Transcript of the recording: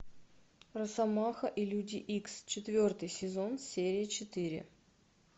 росомаха и люди икс четвертый сезон серия четыре